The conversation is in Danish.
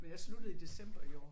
Men jeg sluttede i december i år